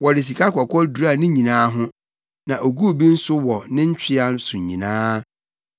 Wɔde sikakɔkɔɔ duraa ne nyinaa ho, na oguu bi nso wɔ ne ntwea so nyinaa.